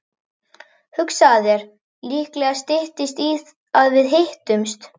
Hugsaðu þér, líklega styttist í að við hittumst.